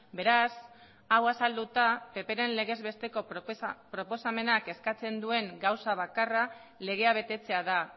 beraz hau azalduta ppren legezbesteko proposamenak eskatzen duen gauza bakarra legea betetzea da